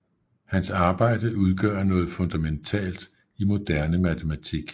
Hans arbejde udgør noget fundamentalt i moderne matematik